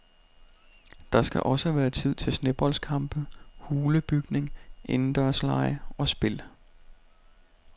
Der skal også være tid til sneboldkampe, hulebygning, indendørslege og spil.